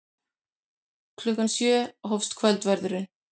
Klukkan sjö hófst kvöldverðurinn.